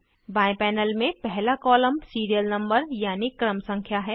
बाएं पैनल में पहला कॉलम सीरियल नंबर यानी क्रम संख्या है